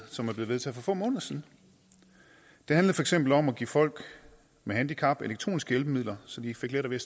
som blev vedtaget for få måneder siden det handlede for eksempel om at give folk med handicap elektroniske hjælpemidler så de fik lettere ved